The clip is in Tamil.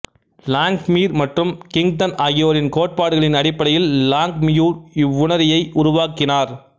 லாங்மியுர் மற்றும் கிங்தன் ஆகியோரின் கோட்பாடுகளின் அடிப்படையில் லாங்மியுர் இவ்வுணரியை உருவாக்கினார்